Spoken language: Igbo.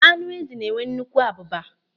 Ánụ́ ézì na-enwe nnukwu abụba.